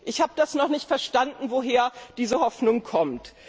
Ich habe noch nicht verstanden, woher diese Hoffnung kommt.